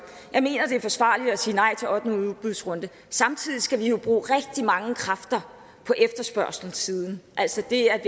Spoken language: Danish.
er forsvarligt at sige nej til ottende udbudsrunde samtidig skal vi jo bruge rigtig mange kræfter på efterspørgselssiden altså det at